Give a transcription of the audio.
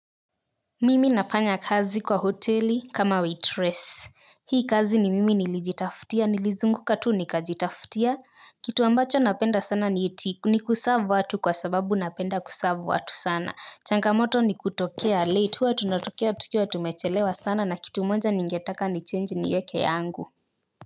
Mimi nafanya kazi kwa hoteli kama waitress hii kazi ni mimi nilijitafutia nilizunguka tu nikajitafutia kitu ambacho napenda sana ni eti ni kuserve watu kwa sababu napenda kuserve watu sana changamoto ni kutokea late huwa tunatokea tukiwa tumechelewa sana na kitu moja ningetaka nichange nieke yangu.